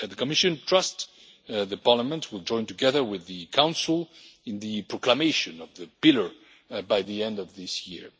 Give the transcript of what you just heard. The Commission trusts that Parliament will join together with the Council in the proclamation of the Pillar by the end of this year.